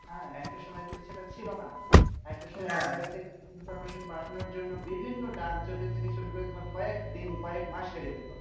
হ্যাঁ একটা সময় সেটা কিন্তু ছিল না। একটা সময় information পাঠানোর জন্য, বিভিন্ন ডাকযোগের থেকে শুরু করে তোমার কয়েক দিন কয়েক মাস লেগে যেত।